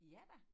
Ja da